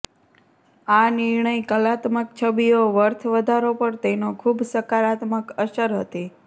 આ નિર્ણય કલાત્મક છબીઓ વર્થ વધારો પર તેનો ખૂબ સકારાત્મક અસર હતી